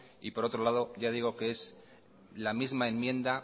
y por otro lado yo digo que es la misma enmienda